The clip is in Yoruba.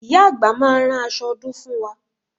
Ìyá àgbà máa rán aṣọ ọdún fún wa